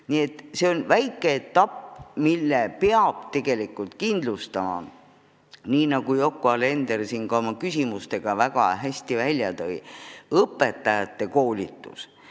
Nii et see on väike edasiminek, mille peab tegelikult kindlustama, nagu Yoko Alender oma küsimustega väga hästi välja tõi, õpetajate koolitus.